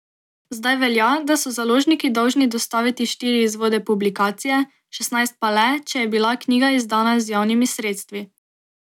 Zdaj velja, da so založniki dolžni dostaviti štiri izvode publikacije, šestnajst pa le, če je bila knjiga izdana z javnimi sredstvi.